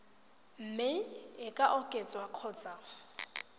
mme e ka oketswa kgotsa